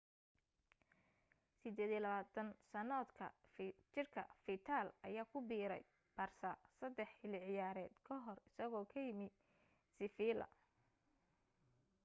28 sannadood jirka fiidal ayaa ku biiray barsa saddex xilli ciyaareed ka hor isagoo ka yimi seffiila